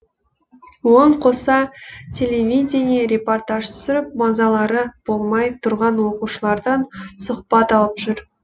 оған қоса телевидение репортаж түсіріп мазалары болмай тұрған оқушылардан сұхбат алып жүр